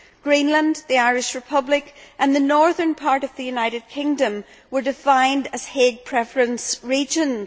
Greenland, the Irish Republic and the northern part of the United Kingdom were defined as Hague preference' regions.